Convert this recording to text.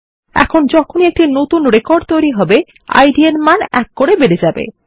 এখন যখনি একটি নতুন রেকর্ড তৈরী হবে ইদ মান ১ করে বেড়ে যাবে